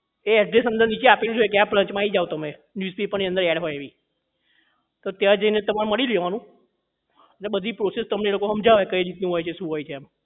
એ address તમને નીચે આપેલું જ હોય કે આ branch આવી જાવ તમે પણ અંદર ad હોય એવી તો ત્યાં જઈને તમારે મળી લેવાનું ને બધી process તમને એ લોકો હમજાવે કઈ રીતનું હોય છે શું હોય છે એમ